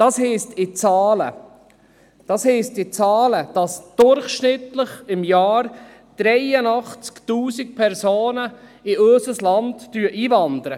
In Zahlen heisst das, dass im Jahr durchschnittlich 83 000 Personen in unser Land einwandern.